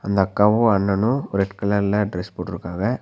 இந்த அக்காவு அண்ணனு ரெட் கலர்ல டிரஸ் போட்ருக்காங்க.